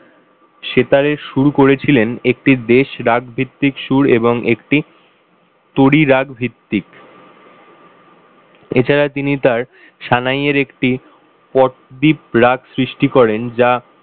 সেতারের সুর করেছিলেন একটি দেশরাগভিত্তিক সুর এবং একটি তড়িরাগ ভিত্তিক এছাড়া তিনি তার সায়ানেরএকটি পদদিপ রাগ সৃষ্টি করেন যা,